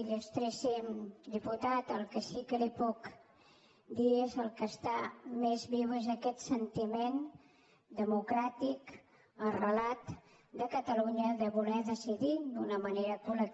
il·lustríssim diputat el que sí que li puc dir és el que està més viu és aquest sentiment democràtic arrelat de catalunya de voler decidir d’una manera col·i